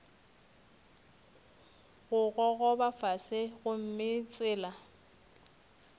go gogoba fase gomme tsela